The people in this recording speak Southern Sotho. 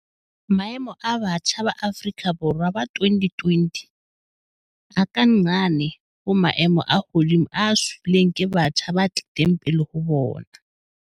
Maemo a batjha ba Afrika Borwa ba 2020 a ka nqane ho maemo a hodimo a siilweng ke batjha ba tlileng pele ho bona.